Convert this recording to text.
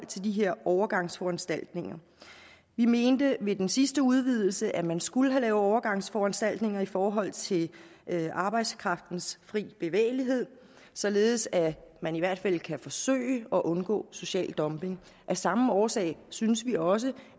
til de her overgangsforanstaltninger vi mente ved den sidste udvidelse at man skulle have lavet overgangsforanstaltninger i forhold til arbejdskraftens fri bevægelighed således at man i hvert fald kan forsøge at undgå social dumping af samme årsag synes vi også